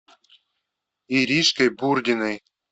иришкой бурдиной